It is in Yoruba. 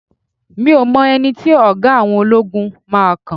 mi o mọ ẹni tí oga àwọn ologun máa kan